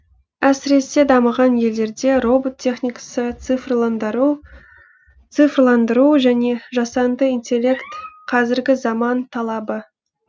әсіресе дамыған елдерде робот техникасы цифрландыру және жасанды интеллект қазіргі заман талабы